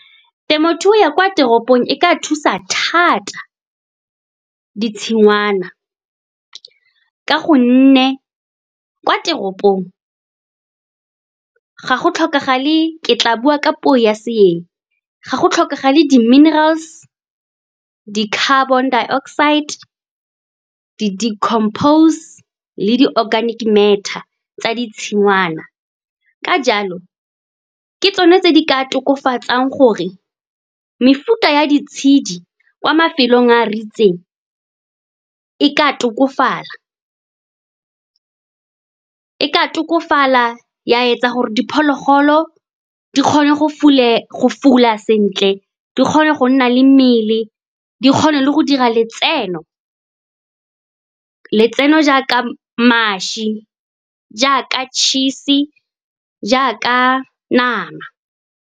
Temothuo ya kwa teropong e ka thusa thata ditshingwana, ka gonne kwa teropong ga go tlhokagale, ke tla bua ka puo ya seeng, ga go tlhokagale di-minerals, di-carbon dioxide, di-decompose le di-organic matter tsa ditshingwana. Ka jalo, ke tsone tse di ka tokafatsang gore mefuta ya ditshedi kwa mafelong a ritseng e ka tokafala, ya etsa gore diphologolo di kgone go fula sentle, di kgone go nna le mmele, di kgone le go dira letseno jaaka mašwi, jaaka tšhisi, jaaka nama.